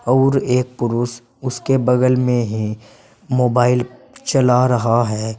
और एक पुरुष उसके बगल में है मोबाइल चला रहा है।